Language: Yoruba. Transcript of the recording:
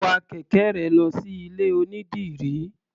Wa kẹ̀kẹ́ rẹ lọ sí ilé-onídìrí.